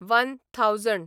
one thousand